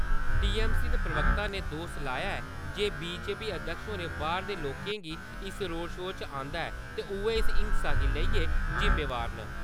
TMC दे प्रवक्ता ने दोश लाया ऐ जे बीजेपी अध्यक्ष होरें बाह्‌रां दे लोकें गी इस रोड़ शो च आंदा ते उयै इस हिंसा लेई जिम्मेदार न।